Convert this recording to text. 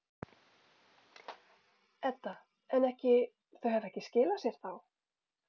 Edda: En ekki, þau hafa ekki skilað sér þá?